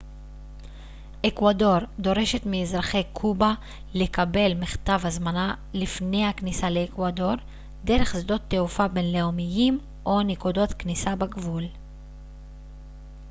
אקוודור דורשת מאזרחי קובה לקבל מכתב הזמנה לפני הכניסה לאקוודור דרך שדות תעופה בינלאומיים או נקודות כניסה בגבול